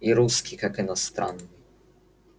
и русский как иностранный